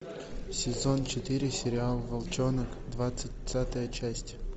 сезон четыре сериал волчонок двадцатая часть